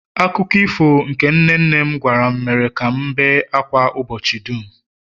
akụkọ ifo nke nne nne m gwara m mere ka m na-ebe ákwá ụbọchị dum